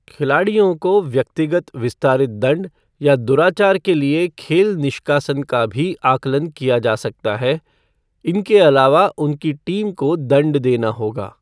खिलाड़ियों को व्यक्तिगत विस्तारित दंड या दुराचार के लिए खेल निष्कासन का भी आकलन किया जा सकता है, इनके अलावा उनकी टीम को दंड देना होगा।